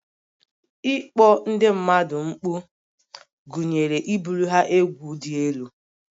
Ịkpọ ndị mmadụ mkpu gụnyere ibuli ha egwu dị elu